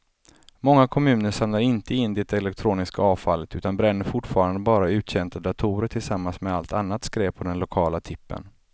Många kommuner samlar inte in det elektroniska avfallet utan bränner fortfarande bara uttjänta datorer tillsammans med allt annat skräp på den lokala tippen.